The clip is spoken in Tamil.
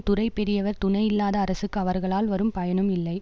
துறை பெரியவர் துணை இல்லாத அரசுக்கு அவர்களால் வரும் பயனும் இல்லை